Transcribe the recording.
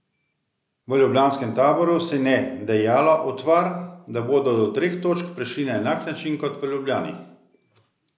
V ljubljanskem taboru si ne dejalo utvar, da bodo do treh točk prišli na enak način kot v Ljubljani.